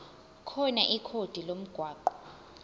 khona ikhodi lomgwaqo